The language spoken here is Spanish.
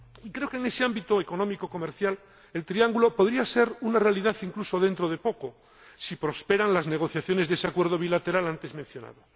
Y creo que en ese ámbito económico comercial el triángulo podría ser una realidad incluso dentro de poco, si prosperan las negociaciones de ese acuerdo bilateral antes mencionado.